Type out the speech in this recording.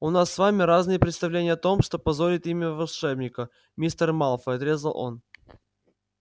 у нас с вами разные представления о том что позорит имя волшебника мистер малфой отрезал он